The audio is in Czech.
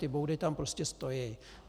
Ty boudy tam prostě stojí.